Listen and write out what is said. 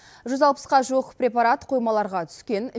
жүз алпысқа жуық препарат қоймаларға түскен